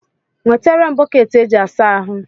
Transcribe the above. Nweterem Boketi e ji asa ahụ